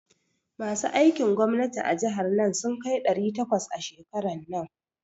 Masu aikin gwamnati a jihar nan sun kai ɗari takwas a shekaran nan.